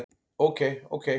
Ok ok.